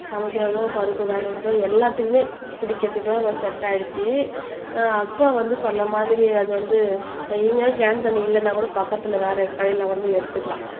சமைக்கிறதோ பருப்பு வேக வைக்கிறது எல்லாத்துக்குமே குடிக்கிறதுக்கெல்லாம் செட் ஆயிடுச்சு அக்குவா வந்து சொன்ன மாதிரி அது வந்து எங்கனா கேன் தண்ணி இல்லன்னா கூட பக்கத்துல வேற கடையில கூட போய் எடுத்துக்கலாம்